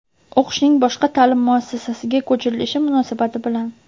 O‘qishning boshqa ta’lim muassasasiga ko‘chirilishi munosabati bilan;.